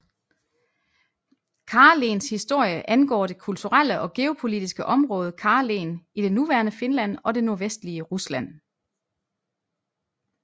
Karelens historie angår det kulturelle og geopolitiske område Karelen i det nuværende Finland og det nordvestlige Rusland